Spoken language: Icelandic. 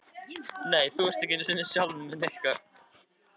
Hrund: Er gagnlegt að koma hingað?